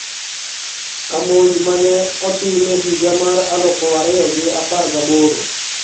Ka monj ma ne otim e higa mar aluf ariyo gi apar gaboro,